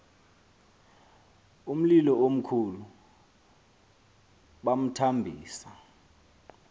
umlilo omkhulu bamthambisa